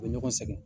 U bɛ ɲɔgɔn sɛgɛn